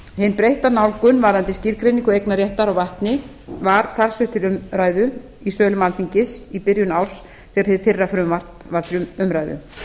hin breytta nálgun varðandi skilgreiningu eignarréttar á vatni var talsvert til umræðu í sölum alþingis í byrjun árs þegar hið fyrra frumvarp var til umræðu